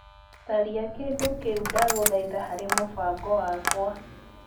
Tharia kĩndũ kĩu ndagũthaitha harĩ mũbango wakwa .